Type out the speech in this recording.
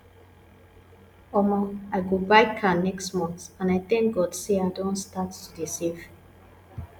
omo i go buy car next month and i thank god say i don start to dey save